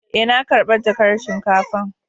Eh, na karba jakan shinkafan.